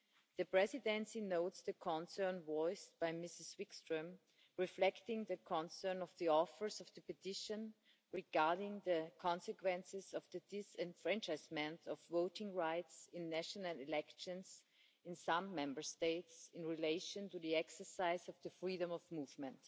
The Presidency notes the concerns voiced by Ms Wikström, reflecting the concern of the authors of the petition regarding the consequences of the disenfranchisement of voting rights in national elections in some Member States in relation to the exercise of the freedom of movement.